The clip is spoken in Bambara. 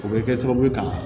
O bɛ kɛ sababu ye ka